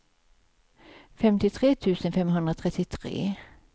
femtiotre tusen femhundratrettiotre